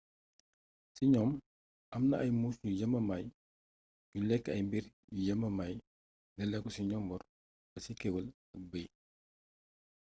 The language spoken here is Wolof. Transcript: ci gnoom amna ay muus yu yamamaay yuy lékk ay mbiir yu yamamay daléko ci njomboor ba ci kéwél ak beey